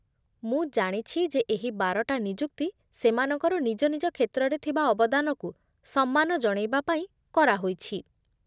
ମୁଁ ଜାଣିଛି ଯେ ଏହି ବାରଟା ନିଯୁକ୍ତି ସେମାନଙ୍କର ନିଜ ନିଜ କ୍ଷେତ୍ରରେ ଥିବା ଅବଦାନକୁ ସମ୍ମାନ ଜଣେଇବା ପାଇଁ କରାହୋଇଛି ।